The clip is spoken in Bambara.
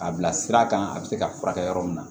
A bila sira kan a bɛ se ka furakɛ yɔrɔ min na